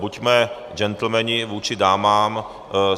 Buďme gentlemani vůči dámám.